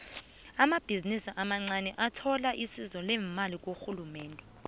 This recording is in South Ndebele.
amabhizinisi amancaniathola isizo lemali kurhulumende